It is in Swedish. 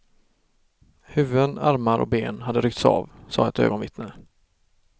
Huvuden, armar och ben hade ryckts av, sade ett ögonvittne.